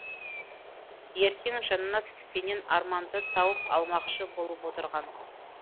ертең жаннат пенен арманды тауып алмақшы болып отырған